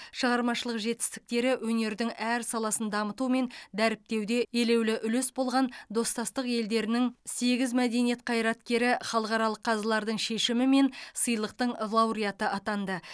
шығармашылық жетістіктері өнердің әр саласын дамыту мен дәріптеуде елеулі үлес болған достастық елдерінің сегіз мәдениет қайраткері халықаралық қазылардың шешімімен сыйлықтың лауреаты атанды